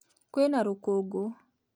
Kwĩna rũkũngũ